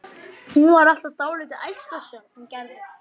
Hún var alltaf dálítið ærslasöm, hún Gerður.